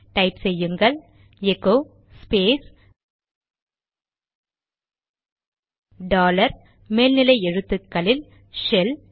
type செய்யுங்கள் echo space dollar மேல்நிலை எழுத்துக்களில் ஷெல்